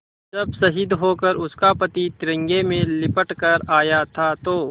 जब शहीद होकर उसका पति तिरंगे में लिपट कर आया था तो